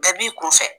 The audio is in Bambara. Bɛɛ b'i kun fɛ